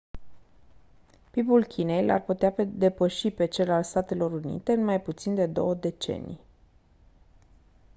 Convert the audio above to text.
pib-ul chinei l-ar putea depăși pe cel al statelor unite în mai puțin de două decenii